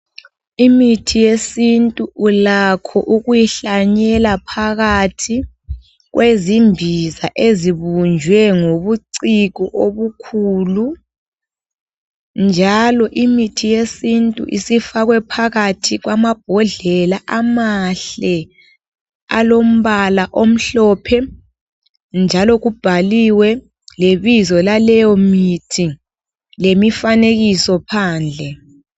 Imithi yesintu ulakho ukuyihlanyela phakathi kwezimbiza, ezibunjwe ngobuciko obukhulu, njalo imithi yesintu isifakwe phakathi kwamabhodlela, amahle, alombala omhlophe, njalo kubhaliwe lebizo laleyomithi lemifanekiso phandle.